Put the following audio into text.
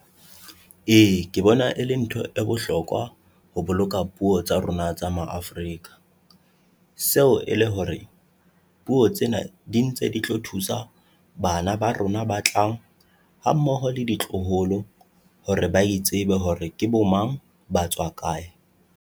E, ke bona e le ntho e bohlokwa ho boloka puo tsa rona tsa Ma-Afrika, seo e le hore puo tsena di ntse di tlo thusa bana ba rona ba tlang hammoho le ditloholo hore ba itsebe hore ke bo mang, ba tswa kae.